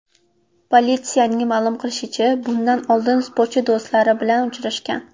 Politsiyaning ma’lum qilishicha, bundan oldin sportchi do‘stlari bilan uchrashgan.